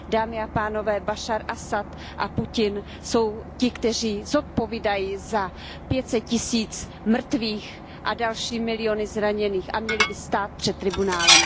Dámy a pánové, Bašar Asad a Putin jsou ti, kteří zodpovídají za pět set tisíc mrtvých a další miliony zraněných, a měli by stát před tribunálem.